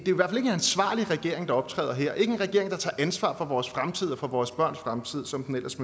ansvarlig regering der optræder her ikke en regering der tager ansvar for vores fremtid og for vores børns fremtid som den ellers